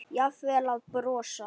Jafnvel að brosa.